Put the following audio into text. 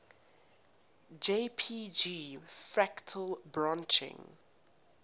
jpg fractal branching